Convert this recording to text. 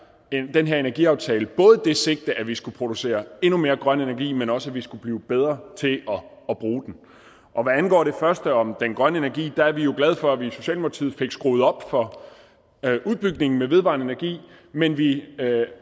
den her energiaftale både det sigte at vi skal producere endnu mere grøn energi men også at vi skulle blive bedre til at bruge den og hvad angår det første altså om den grønne energi er vi jo glade for at vi fik skruet op for udbygningen med vedvarende energi men vi